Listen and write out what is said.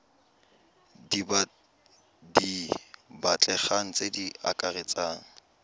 di batlegang tse di akaretsang